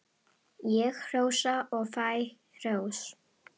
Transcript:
Ég hrósa og fæ hrós.